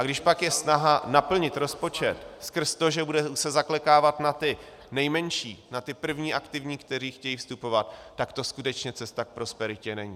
A když pak je snaha naplnit rozpočet skrz to, že se bude zaklekávat na ty nejmenší, na ty první aktivní, kteří chtějí vstupovat, tak to skutečně cesta k prosperitě není.